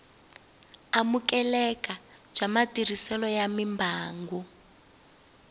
amukeleka bya matirhiselo ya mimbangu